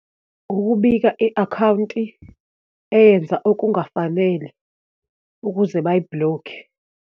Ukubika i-akhawunti eyenza okungafanele ukuze bayi-block-e.